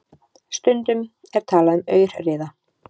Stundum er talað um aurriða.